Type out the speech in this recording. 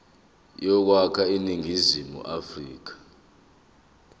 yokwakha iningizimu afrika